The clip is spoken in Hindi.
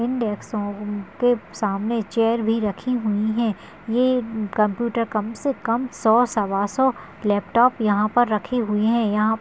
इन डेस्को के सामने चेयर भी रखी हुई हैं ये कंप्यूटर कम से कम सौ सव्वासौ लॅपटॉप यहाँ पर रखें हुए हैं यहाँ--